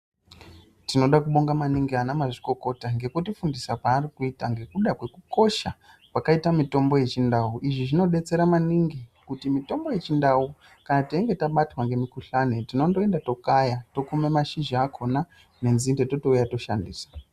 Tinoda kubonga maningi ana mazvikokota ngekuti fundisa kwaari kuita ngekuda kwekukosha kwakaita mitombo yechindau izvi zvinodetsera maningi kuti mitombo yechindau kana teinge tabatwa ngemukuhlane tinondoenda tokaya, tokuma mashizha akhona nenzinde totouya toshandisa.